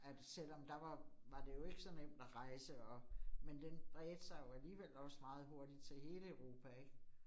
At selvom der var, var det jo ikke så nemt at rejse og, men den bredte sig jo alligevel også meget hurtigt til hele Europa ik